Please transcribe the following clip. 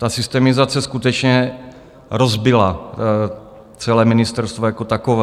Ta systemizace skutečně rozbila celé ministerstvo jako takové.